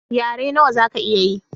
Yare nawa zaka iya ye?